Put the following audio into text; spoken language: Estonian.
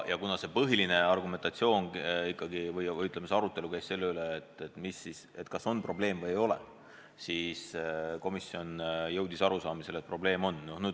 Põhiline arutelu käis ikkagi selle üle, kas on probleem või ei ole, ja komisjon jõudis arusaamisele, et probleem on.